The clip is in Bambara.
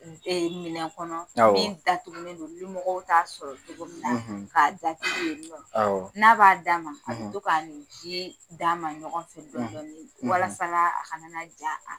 Minɛn kɔnɔ, awɔ, min datugulen don limɔgɔw t'a sɔrɔ cogo min na ,, k'a datugu ye nɔ, awɔ, n'a b'a d'a ma, , a bɛ to k'a ni ji d'a ma ɲɔgɔn fɛ dɔɔni dɔɔni, , ,walasa a kana na a